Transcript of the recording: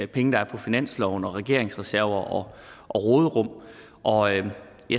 penge der er på finansloven og regeringens reserver og råderum og ja